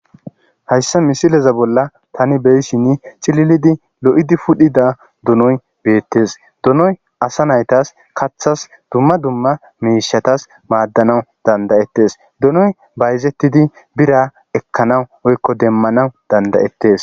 hayssa misileza bolla tani beyshinn cililidi lo7idi pudhida dunoy beettes dunoy asa naytas kaththas dumma dumma miishatas maaddanawu dandayettes dunoy bayzettidi bira ekkanaw oykko demmanaw dandayettes